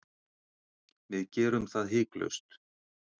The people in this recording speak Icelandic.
Við gerum það hiklaust